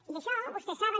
i això vostès saben